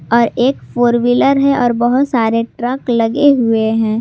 और एक four wheeler है और बहुत सारे ट्रक लगे हुए हैं।